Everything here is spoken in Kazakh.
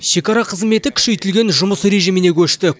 шекара қызметі күшейтілген жұмыс режиміне көшті